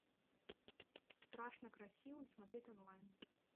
страшно красивый смотреть онлайн